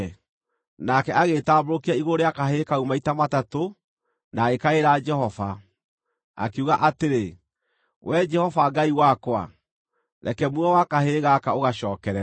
Nake agĩĩtambũrũkia igũrũ rĩa kahĩĩ kau maita matatũ na agĩkaĩra Jehova, akiuga atĩrĩ, “Wee Jehova Ngai wakwa, reke muoyo wa kahĩĩ gaka ũgacookerere!”